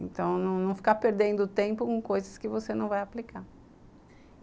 Então, não ficar perdendo tempo com coisas que você não vai aplicar.